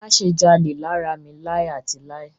Má ṣe jalè lára mi láì àti láì.